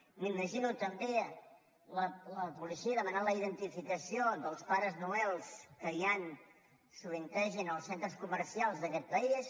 m’imagino també la policia demanant la identificació dels pares noël que hi han sovintegen als centres comercials d’aquest país